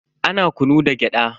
Ana kunu da gyada.